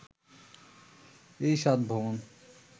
এই সাত ভবন